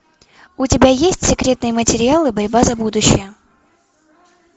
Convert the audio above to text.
у тебя есть секретные материалы борьба за будущее